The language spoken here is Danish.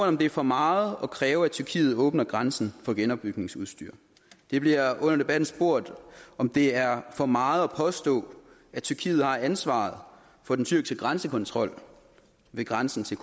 om det er for meget at kræve at tyrkiet åbner grænsen for genopbygningsudstyr der bliver under debatten spurgt om det er for meget at påstå at tyrkiet har ansvaret for den tyrkiske grænsekontrol ved grænsen til